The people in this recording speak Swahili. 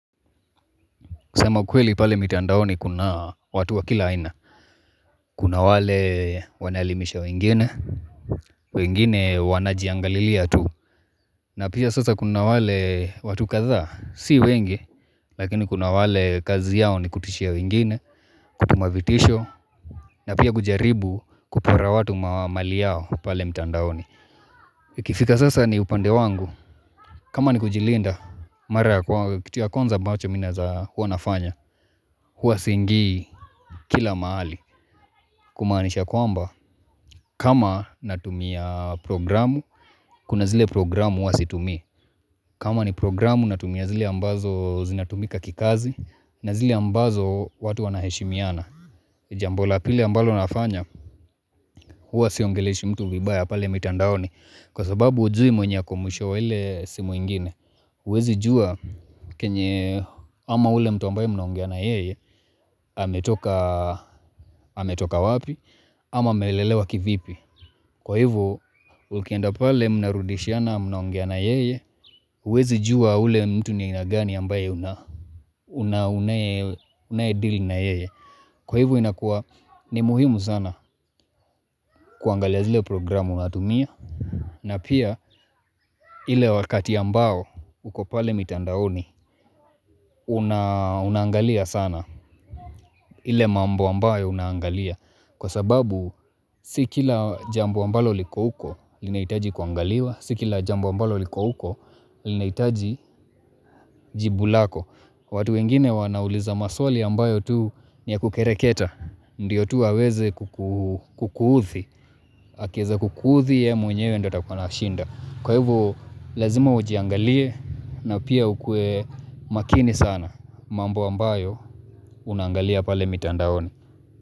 Kusema ukweli pale mitandaoni kuna watu wa kila aina. Kuna wale wanaelimisha wengine, wengine wanajiangalilia tu. Na pia sasa kuna wale watu kadhaa, si wengi. Lakini kuna wale kazi yao ni kutishia wengine kutuma vitisho. Na pia kujaribu kupora watu mali yao pale mitandaoni. Ikifika sasa ni upande wangu. Kama ni kujilinda, kitu ya kuanza ambacho mi naeza kuwa nafanya. Huwa siingii kila mahali kumanisha kwamba kama natumia programu kuna zile programu huwa situmii kama ni programu natumia zile ambazo zinatumika kikazi na zile ambazo watu wanaheshimiana Jambo la pili ambalo nafanya huwa siongeleshi mtu vibaya pale mitandaoni Kwa sababu hujui mwenye kumbusho wa ile simu ingine uwezi jua kenye ama ule mtu ambaye mnaongea na yeye ametoka ametoka wapi, ama amelelewa kivipi. Kwa hivo ukienda pale mnarudishiana mnaongea na yeye, uwezi jua ule mtu ni nia gani ambaye unaedeal na yeye. Kwa hivo, inakuwa ni muhimu sana kuangalia zile programu natumia. Na pia, ile wakati ambao, uko pale mitandaoni, unaangalia sana. Ile mambo ambayo unangalia. Kwa sababu, si kila jambo ambalo liko uko, linahitaji kuangaliwa. Sikila jambo ambalo liko uko, linahitaji jibu lako. Watu wengine wanauliza maswali ambayo tu ni ya kukereketa. Ndiyo tu waweze kuuthi. Akieza kukuuthi ye mwenyewe ndio atakuwa anashinda. Kwa hivo lazima ujiangalie na pia ukue makini sana mambo ambayo unaangalia pale mitandaoni.